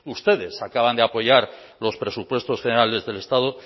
ustedes acaban de apoyar los presupuestos generales del estado